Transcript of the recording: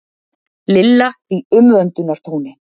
Lilla í umvöndunartóni.